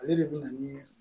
Ale de bɛ na ni